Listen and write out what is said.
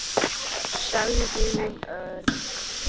sagði hún örg.